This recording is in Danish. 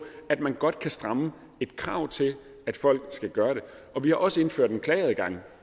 at man godt kan stramme et krav til at folk skal gøre det og vi har også indført en klageadgang